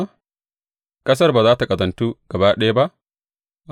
Ƙasar ba za tă ƙazantu gaba ɗaya ba?